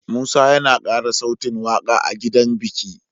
Musa yAna kara sautin waƙa a gidan biki